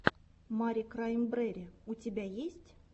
мари краймбрери у тебя есть